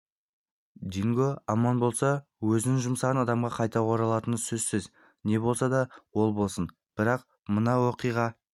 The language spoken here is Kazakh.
динго аман болса өзін жұмсаған адамға қайта оралатыны сөзсіз не болса ол болсын бірақ мына оқиға